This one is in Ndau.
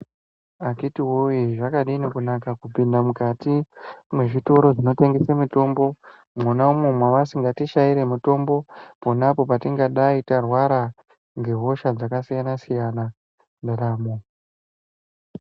Akiti woye zvakadini kunaka kupinda mukati mezvitoro zvinotengesa mitombo mwona umo mavasingatishaire mitombo pona apo patingadai tarwara hosha dzakasiyana siyana mundaramo.